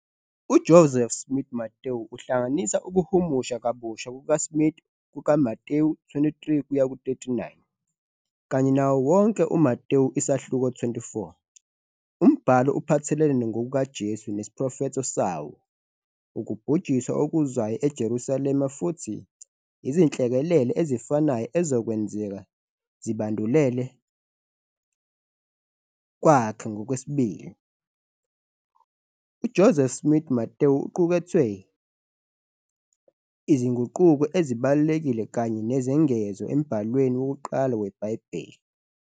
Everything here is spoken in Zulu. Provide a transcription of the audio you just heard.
UJoseph Smith-Matthew uhlanganisa ukuhumusha kabusha kukaSmith kukaMathewu 23:39 kanye nawo wonke uMathewu isahluko 24. Umbhalo Iphathelene kaJesu esiprofetho salo Ukubhujiswa okuzayo eJerusalema futhi izinhlekelele ezifanayo ezokwenza sibandulele yakhe kwesibili. UJoseph Smith-Matthew uqukethe izinguquko ezibalulekile kanye nezengezo embhalweni wokuqala weBhayibheli.